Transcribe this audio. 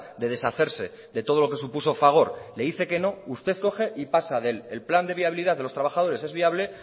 de deshacerse de todo lo que supuso fagor le dice que no usted coge y pasa de el plan de viabilidad de los trabajadores es viable